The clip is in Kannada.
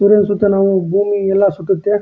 ಸೂರ್ಯನ್ ಸುತ್ತ ನಾವು ಭೂಮಿ ಎಲ್ಲ ಸುತ್ತುತ್ತೆ.